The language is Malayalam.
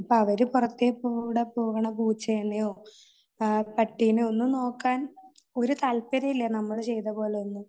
അവര് പുറത്തെക്കൂടെ പോകുന്ന പൂച്ചയെയോ പട്ടിയെയോ നോക്കാൻ ഒരു താല്പര്യവുമില്ല നമ്മൾ ചെയ്തപോലെ ഒന്നും.